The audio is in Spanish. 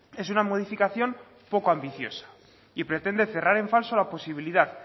es una modificación poco ambiciosa y pretende cerrar en falso la posibilidad